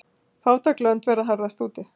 Fátæk lönd verða harðast úti.